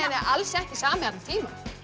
alls ekki sami allan tímann